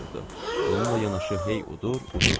Bununla yanaşı hey udur, udurdu.